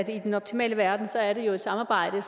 jo i den optimale verden er et samarbejde